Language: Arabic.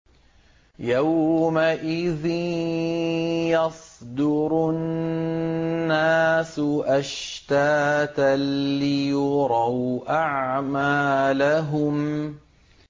يَوْمَئِذٍ يَصْدُرُ النَّاسُ أَشْتَاتًا لِّيُرَوْا أَعْمَالَهُمْ